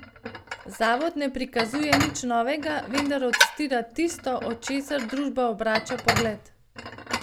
Zavod ne prikazuje nič novega, vendar odstira tisto, od česar družba obrača pogled.